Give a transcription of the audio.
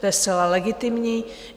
To je zcela legitimní.